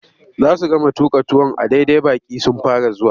Za su gama tuƙa tuwon a daidai baƙi sun fara zuwa.